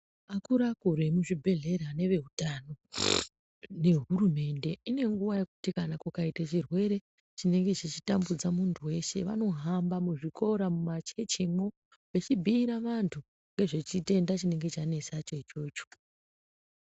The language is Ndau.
Akuru akuru emuzvibhedhlera neveutano nehurumende ine nguwa yekuti kana kukaita chirwere chinenge chichitambudza munthu weshe vanohamba muzvikora mumachechimwo vechibhiire vanthu nezvechitenda chinenge chanesacho ichocho.